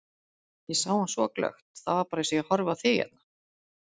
Ég sá hann svo glöggt, það var bara eins og ég horfi á þig hérna.